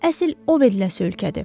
Əsl oveləsə ölkədir.